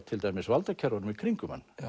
til dæmis valdakerfunum í kringum hann